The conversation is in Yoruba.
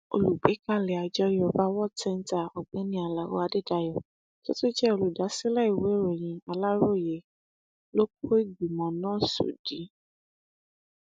olùgbékalẹ àjọ yorùbá world centre ọgbẹni alao adédáyò tó tún jẹ olùdásílẹ ìwéèròyìn aláròye ló kó ìgbìmọ náà sódì